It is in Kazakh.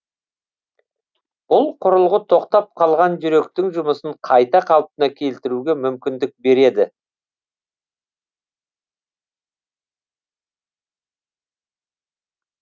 бұл құрылғы тоқтап қалған жүректің жұмысын қайта қалпына келтіруге мүмкіндік береді